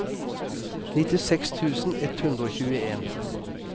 nittiseks tusen ett hundre og tjueen